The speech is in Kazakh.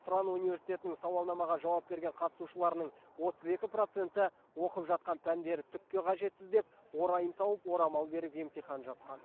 тұран университетінің сауалнамаға жауап берген қатысушыларының отыз екі проценті оқып жатқан пәндері түкке қажетсіз деп орайын тауып орамал беріп емтихан жапқан